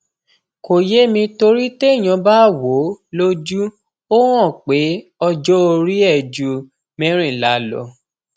kò yé mi torí téèyàn bá wò ó lójú ó hàn pé ọjọorí ẹ ju mẹrìnlá lọ